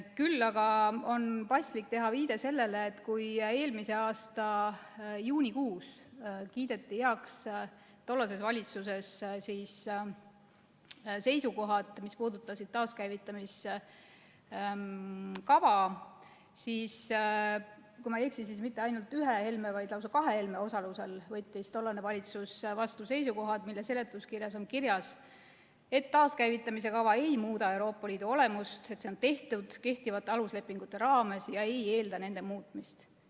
Küll aga on paslik teha viide sellele, et kui eelmise aasta juunikuus kiideti tollases valitsuses heaks seisukohad, mis puudutasid taaskäivitamise kava, siis, kui ma ei eksi, mitte ainult ühe Helme, vaid lausa kahe Helme osalusel võttis tollane valitsus vastu seisukohad, mille seletuskirjas on kirjas, et taaskäivitamise kava ei muuda Euroopa Liidu olemust, see on tehtud kehtivate aluslepingute raames ega eelda nende muutmist.